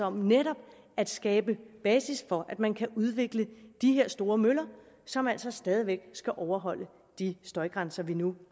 om netop at skabe basis for at man kan udvikle de her store møller som altså stadig væk skal overholde de støjgrænser vi nu